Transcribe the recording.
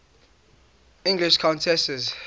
english countesses